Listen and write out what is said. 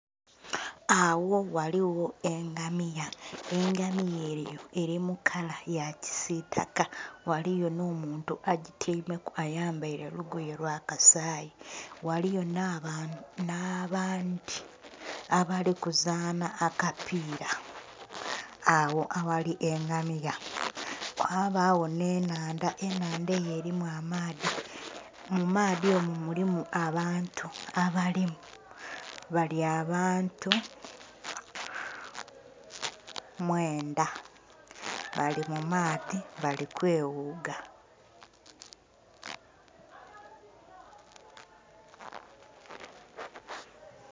Agho ghaligho engamiya, engamiya eyo eri mukala yakisitaka ghaligho n'omuntu agityaime ku ayambaire lugoye lwakasayi, ghaligho n'abandhi abali kuzanha akapira agho aghali engamiya, ghabagho n'ennhandha eyo erimu amaadhi mumaadhi omwo mulimu abantu abalimu bali abantu mwendha bali mumaadhi bali kweghuga.